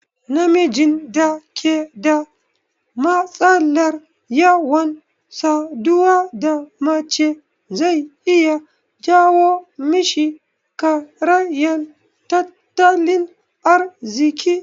Namijin da ke da matsalar yawan saduwa da mace zai iya jawo mishi karayan tattalin arziki